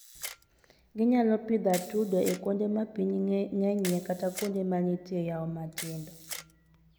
Ginyalo pidho atudo e kuonde ma pi ng'enyie kata kuonde ma nitie yawo matindo.